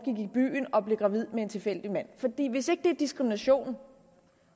i byen og blev gravid med en tilfældig mand hvis ikke det er diskrimination